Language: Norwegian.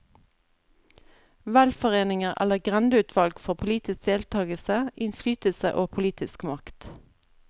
Velforeninger eller grendeutvalg får politisk deltagelse, innflytelse og politisk makt.